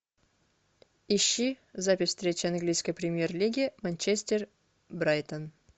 ищи запись встречи английской премьер лиги манчестер брайтон